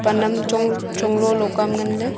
anam chong chong lolo ka nganley.